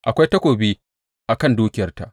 Akwai takobi a kan dukiyarta!